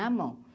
Na mão.